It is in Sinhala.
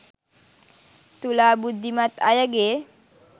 තුලා බුද්ධිමත් අයගේ